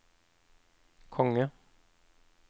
konge